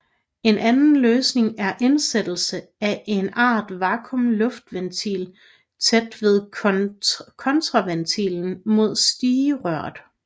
En anden løsning er indsættelse af en art vakuum luftventil tæt ved kontraventilen mod stigerøret